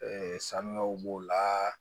sanuyaw b'o la